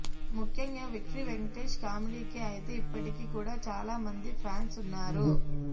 ముఖ్యంగా విక్టరీ వెంకటేష్ కామెడీకి అయితే ఇప్పటికీ కూడా చాలా మంది ఫ్యాన్స్ ఉన్నారు